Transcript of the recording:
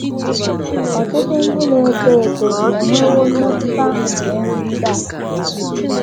Ọtụtụ ndị na - eto eto enwewo mmetụta nke nrụgide a.